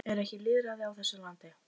Er ekki lýðræði á þessu landi?